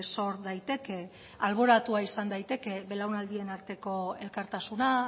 sor daiteke alboratua izan daiteke belaunaldien arteko elkartasuna